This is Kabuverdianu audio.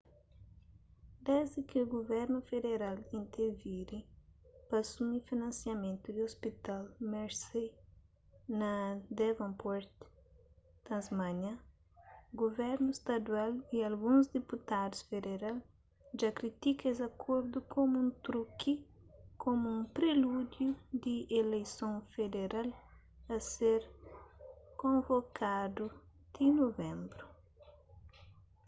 desdi ki guvernu federal interviri pa asumi finansiamentu di ôspital mersey na devonport tasmânia guvernu stadual y alguns diputadus federal dja kritika es akordu komu un truki komu un prelúdiu di eleison federal a ser konvokadu ti nuvenbru